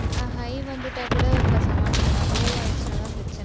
ஆஹ் high வந்துட்டா கூட, இப்ப சமாளிச்சிடலாம். low ஆயிடுச்சுன்னாதான் பிரச்சினை